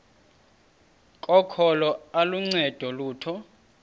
kokholo aluncedi lutho